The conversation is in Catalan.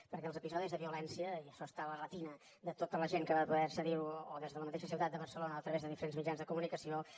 perquè els episodis de violència i això està a la retina de tota la gent que va poder accedir hi o des de la mateixa ciutat de barcelona a través de diferents mitjans de comunicació